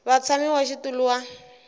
va mutshami wa xitulu wa